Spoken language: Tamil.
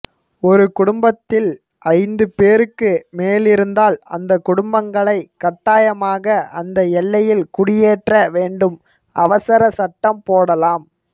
ஒரு குடும்பத்தில் ஐந்துபேருக்கு மேலிருந்தால் அந்த குடும்பங்களை கட்டாயமாக அந்த எல்லையில் குடியேற்ற வேண்டும் அவசர சட்டம் போடலாம்